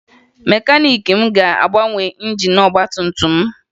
Mekaniiki m ga-agbanwe injin ọgbatumtum m